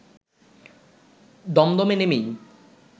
দমদমে নেমেই